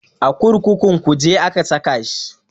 A kurkukun kuje aka saka shi